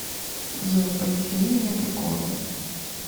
джой повесели меня приколом